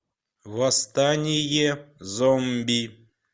восстание зомби